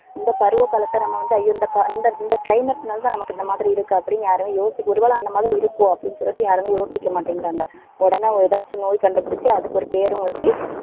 இந்த பருவ காலத்தை நம்ம வந்து ஐயோ இந்த இந்த இந்த climate னாலதான் நமக்கு இந்த மாதிரி இருக்கு அப்படின்னு யாரும் யோசிக்க ஒருவேளை அந்த மாரி இருக்கும் அப்படின்னு சொல்லிட்டு யாருமே யோசிக்க மாட்டேங்கிறாங்க. உடனே ஏதாச்சும் நோய் கண்டுபிடிச்சு அதுக்கு ஒரு பேரும் வச்சு